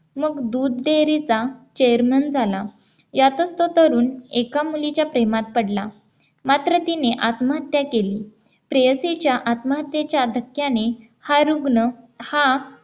मग दूध dairy चा Chairman झाला यातच तो तरुण एका मुलीच्या प्रेमात पडला मात्र तिने आत्महत्या केली प्रेयसीच्या आत्महत्येच्या धक्क्याने हा रुग्ण हा